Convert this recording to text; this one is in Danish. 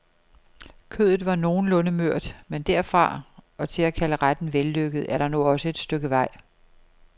Kødet var nogenlunde mørt, men derfra og til at kalde retten vellykket er der nu også et stykke vej.